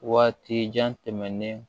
Waati jan tɛmɛnen